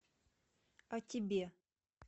о тебе